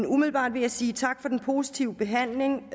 umiddelbart vil jeg sige tak for den positive behandling